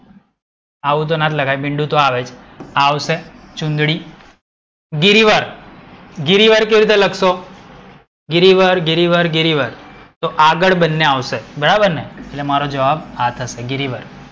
આવું તો ના જ લખાય મીંડું તો આવે જ. આ આવશે ચુંદડી, ગિરિવર. ગિરિવર કેવી રીતે લખશો? ગિરિવર, ગિરિવર, ગિરિવર. તો આગડ બંને આવશે. બરાબર ને? એટ્લે મારો જવાબ આ થશે ગિરિવર.